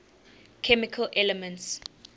chemical elements